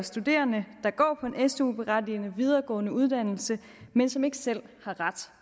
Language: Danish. studerende der går på en su berettigende videregående uddannelse men som ikke selv har ret